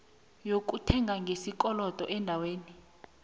lokuthenga ngesikolodo eendaweni